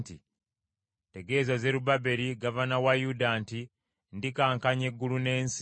“Tegeeza Zerubbaberi gavana wa Yuda nti ndikankanya eggulu n’ensi.